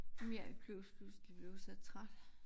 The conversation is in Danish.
Nu jeg plus pludselig blevet så træt